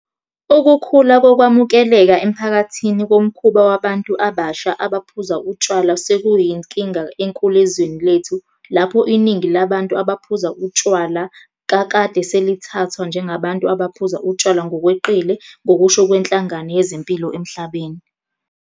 Ukukhula kokwamukeleka emphakathini komkhuba wabantu abasha abaphuza utshwala sekuyinkinga enkulu ezweni lethu lapho iningi labantu abaphuza utshwala kakade selithathwa njengabantu abaphuza utshwala ngokweqile ngokusho kweNhlangano Yezempilo Emhlabeni.